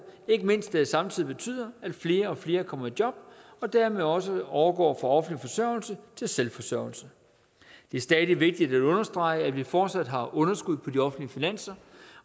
ikke mindst da det samtidig betyder at flere og flere kommer i job og dermed også overgår fra offentlig forsørgelse til selvforsørgelse det er stadig vigtigt at understrege at vi fortsat har underskud på de offentlige finanser